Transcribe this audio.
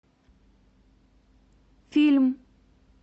фильм